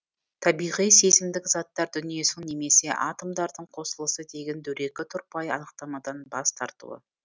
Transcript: табиғи сезімдік заттар дүниесінің немесе атомдардың қосылысы деген дөрекі тұрпайы анықтамадан бас тартуы